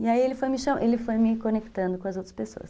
E aí ele foi me conectando com as outras pessoas.